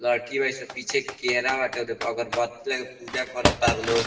लईकी बाड़ी सन पीछे केड़ा बाटे अगरबत्ती लेके पूजा करता लो।